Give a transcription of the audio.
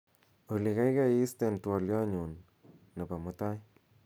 olly gaigai isten twolyot nenyun nebo mutai